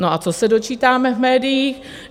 No a co se dočítáme v médiích?